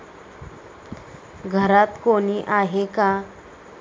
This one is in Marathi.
घरात कोणी आहे का?